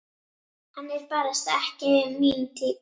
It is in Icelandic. Hann er barasta ekki mín týpa.